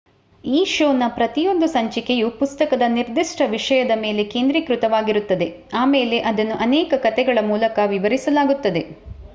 ಈ ಶೋನ ಪ್ರತಿಯೊಂದು ಸಂಚಿಕೆಯು ಪುಸ್ತಕದ ನಿರ್ದಿಷ್ಟ ವಿಷಯದ ಮೇಲೆ ಕೇಂದ್ರಿತವಾಗಿರುತ್ತದೆ ಆಮೇಲೆ ಇದನ್ನು ಅನೇಕ ಕಥೆಗಳ ಮೂಲಕ ವಿವರಿಸಲಾಗುತ್ತದೆ